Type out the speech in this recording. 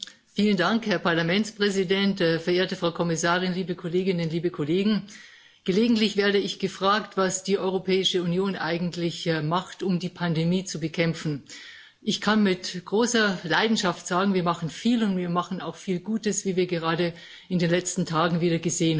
Herr Präsident, sehr verehrte Frau Kommissarin, liebe Kolleginnen, liebe Kollegen! Gelegentlich werde ich gefragt, was die Europäische Union eigentlich macht, um die Pandemie zu bekämpfen. Ich kann mit großer Leidenschaft sagen Wir machen viel, und wir machen auch viel Gutes, wie wir gerade in den letzten Tagen wieder gesehen haben.